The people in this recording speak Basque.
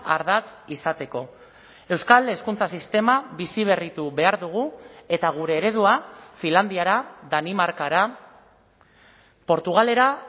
ardatz izateko euskal hezkuntza sistema biziberritu behar dugu eta gure eredua finlandiara danimarkara portugalera